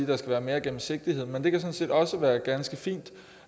der skal være mere gennemsigtighed men det kan sådan set også være ganske fint